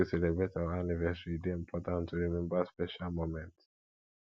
make we celebrate our anniversary e dey important to rememba special moments